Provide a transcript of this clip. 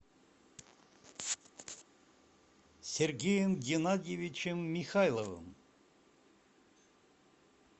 сергеем геннадьевичем михайловым